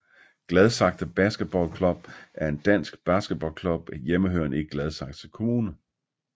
Gladsaxe Basketball Klub er en dansk basketballklub hjemmehørende i Gladsaxe Kommune